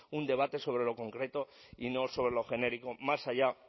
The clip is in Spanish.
un debate sobre lo concreto y no sobre lo genérico más allá